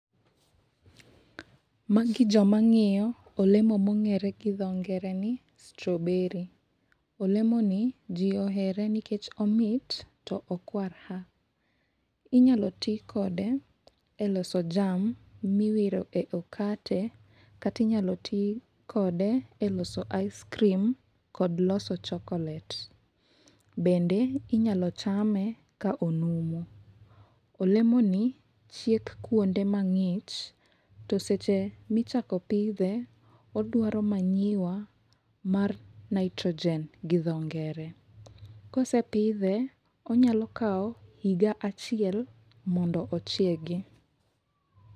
Ma gi jo ma ng'iyo olemo ma ongere gi dho ngere ni strawberry, olemo ni ji ohero nikech omit to okwar ha. inyalo ti kode e loso jam ma iwiro e okate kata inyalo ti kode e loso icecream, kod loso chocolate bende inyal chame ka onumu. Olemo ni chiek kuonde ma ng'ich to seche mi chako pidhe odwaro manyiwa mar nitrogen gi dho ngere. Kose pidhe onyalo kawo higa achiel mondo ochiegi.